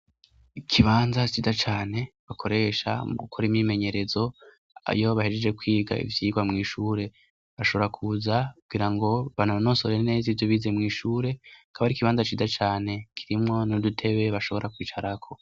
Ikibanza ciza cane bakoresha mugukora imyimenyerezo iyo bahejeje kwiga ivyigwa mw'ishure, bashobora kuza kugirango banonosore neza ivyo bize mw'ishure, akaba ari ikibanza ciza cane kirimwo n'udutebe bashobora kwicarako.